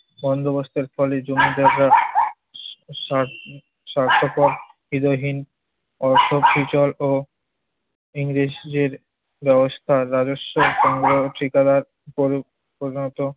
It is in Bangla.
এই বন্দোবস্তের ফলে জমিদাররা সার~ স্বার্থপর, হৃদয়হীন, অর্থ ও ইংরেজদের রসদ আর রাজস্ব সংগ্রহ ঠিকাদার করে তোলা হতো।